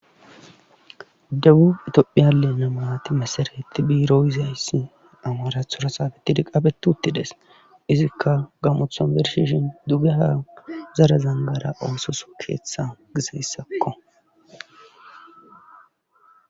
Debubi itophiyale namaati mesaretti biirohizayssi amaarathora saabetidi qabetuttides izikka gamothon bershishin dugeha zara zangara oososo keeththa gizeyssakko.